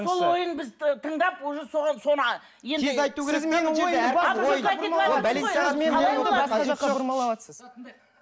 сол ойын біз тыңдап уже соған соны а